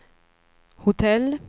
hotell